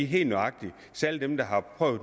helt nøjagtigt især dem der